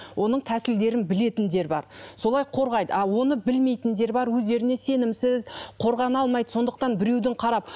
оның тәсілдерін білетіндер бар солай қорғайды а оны білмейтіндер бар өзіндеріне сенімсіз қорғана алмайды сондықтан біреудің қарап